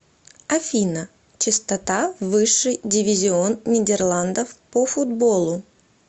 афина частота высший дивизион нидерландов по футболу